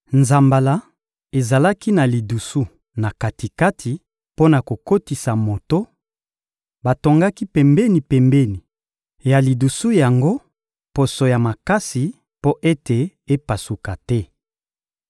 Nzambala ezalaki na lidusu na kati-kati mpo na kokotisa moto; batongaki pembeni-pembeni ya lidusu yango poso ya makasi mpo ete epasuka te.